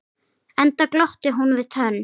Enda glotti hún við tönn.